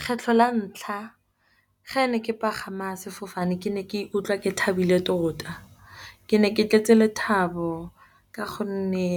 Kgetlho la ntlha ga ne ke pagama sefofane ke ne ke ikutlwa ke thabile tota. Ke ne ke tletse lethabo ka gonne